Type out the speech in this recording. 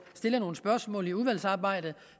stille nogle spørgsmål i udvalgsarbejdet